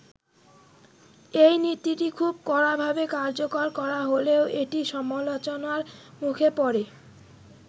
এই নীতিটি খুব কড়াভাবে কার্যকর করা হলেও এটি সমালোচনার মুখে পড়ে।